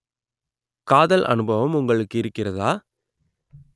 காதல் அனுபவம் உங்களுக்கு இருக்கிறதா